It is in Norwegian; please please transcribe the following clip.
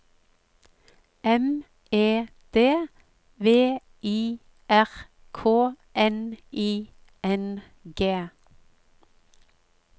M E D V I R K N I N G